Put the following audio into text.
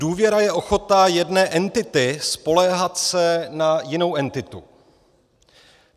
Důvěra je ochota jedné entity spoléhat se na jinou entitu.